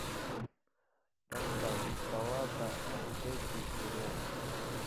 поставь баллада о джеке и роуз